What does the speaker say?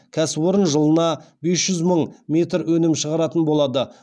кәсіпорын жылына бес жүз мың метр өнім шығаратын болады